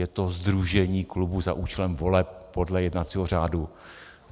Je to sdružení klubů za účelem voleb podle jednacího řádu.